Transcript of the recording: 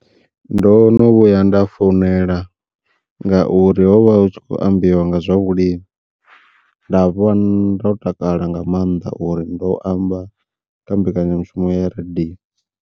Ndo no vhuya nda founela ngauri hovha hu tshi kho ambiwa nga zwa vhulimi nda vha ndo takala nga maanḓa uri ndo amba kha mbekanyamushumo ya radiyo.